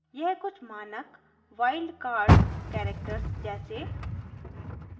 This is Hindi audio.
* यह कुछ मानक वाइल्ड कार्ड्स characters जैसे